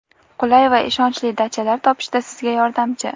qulay va ishonchli dachalar topishda sizga yordamchi!.